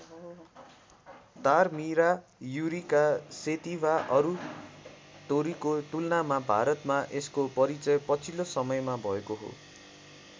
तारमिरा युरिका सेटिभा अरू तोरीको तुलनामा भारतमा यसको परिचय पछिल्लो समयमा भएको हो।